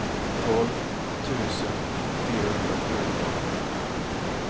tolv tusen fyrahundrafjorton